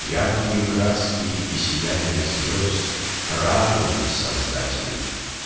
яркие краски и сияние звёзд радуют создателей